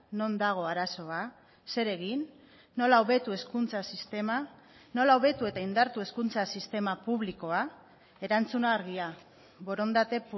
non dago arazoa zer egin nola hobetu hezkuntza sistema nola hobetu eta indartu hezkuntza sistema publikoa erantzuna argia borondate